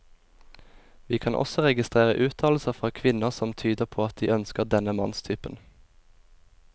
Vi kan også registrere uttalelser fra kvinner som tyder på at de ønsker denne mannstypen.